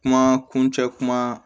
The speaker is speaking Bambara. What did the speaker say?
Kuma kuncɛ kuma